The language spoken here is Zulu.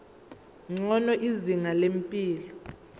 ngcono izinga lempilo